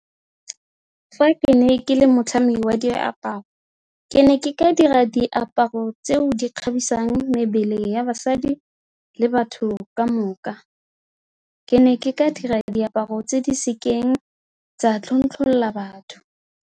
Fa ke ne ke le motlhami wa diaparo, ke ne ke ka dira diaparo tseo di kgatlhisang mebele ya basadi le batho ka moka, ke ne ke ka dira diaparo tse di sekeng tsa tlontlolola batho.